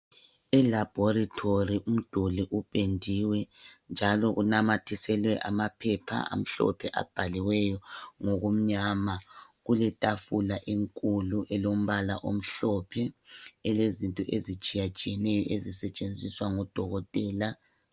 Elaboratory umduli upendiwe njalo kumathiselwe amaphepha amhlophe abhaliweyo ngokumnyama kuletafula enkulu elombala omhlophe elezinto ezitshiya tshiyeneyo ezisetshenziswa ngodokotela .